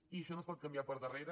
i això no es pot canviar per darrere